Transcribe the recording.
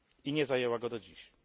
Nie zajęła go do dzisiaj.